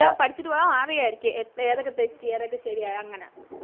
എല്ലാ പഠിച്ചിട്ട് പോയ അറിയാരിക്കും എ ഏതൊക്കെ തെറ്റി ഏതൊക്കെ ശെരിയായി അങ്ങനെ